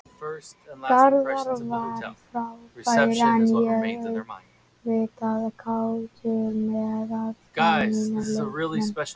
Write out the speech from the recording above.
Garðar var frábær en ég er auðvitað kátur með alla mína leikmenn.